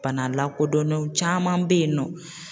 Bana lakodɔnnenw caman be yen nɔ.